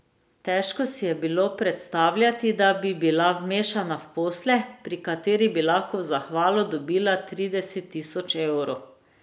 Težko si je bilo predstavljati, da bi bila vmešana v posle, pri katerih bi lahko v zahvalo dobila trideset tisoč evrov.